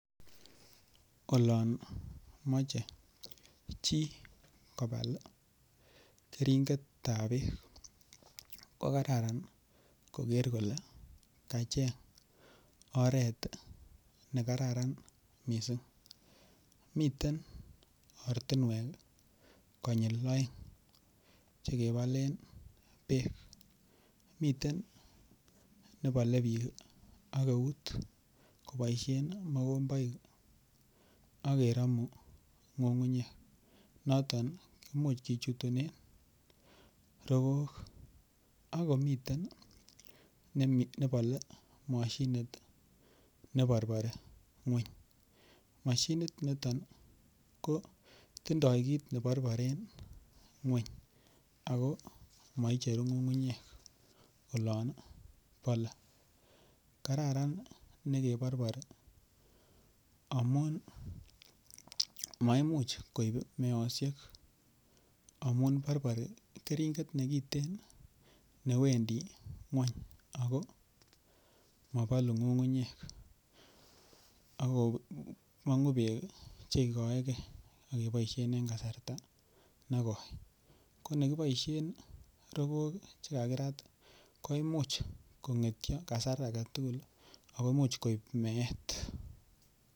Olon moche chi kobal keringet ab bek ko Kararan koger kole kacheng oret ne kararan mising miten ortinwek konyil oeng Che kebolen bek miten keringet nebole bik koboisien ak mokomboik ak keromu ngungunyek noton komuch kichutunen rogook ak komiten nebole mashinit ne borbori ngwony mashinit niton kotindoi kit ne borboren ngwony ago moicheru ngungunyek olon bole kararan nekeborbori amun maimuch koib meosiek amun borbori keringet nekiten newendi ngwony ago mobolu ngungunyek ago mongu bek Che igoege ak keboisien en kasarta negoi ko Che kibolen rogook Che kakirat koimuch kongetyo en kasar age tugul ak koib meosiek